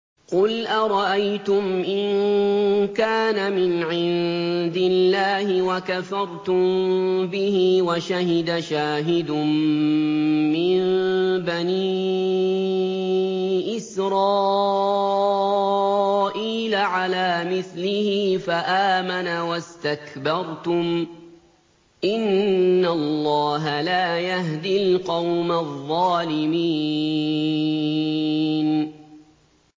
قُلْ أَرَأَيْتُمْ إِن كَانَ مِنْ عِندِ اللَّهِ وَكَفَرْتُم بِهِ وَشَهِدَ شَاهِدٌ مِّن بَنِي إِسْرَائِيلَ عَلَىٰ مِثْلِهِ فَآمَنَ وَاسْتَكْبَرْتُمْ ۖ إِنَّ اللَّهَ لَا يَهْدِي الْقَوْمَ الظَّالِمِينَ